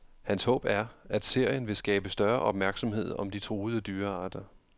Hans håb er, at serien vil skabe større opmærksomhed om de truede dyrearter.